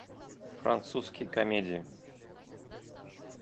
французские комедии